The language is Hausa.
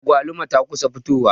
Agwaluma ta kusa fitowa.